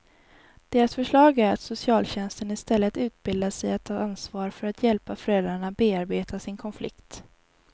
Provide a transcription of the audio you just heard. Deras förslag är att socialtjänsten istället utbildas i att ta ansvar för att hjälpa föräldrarna bearbeta sin konflikt.